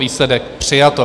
Výsledek: přijato.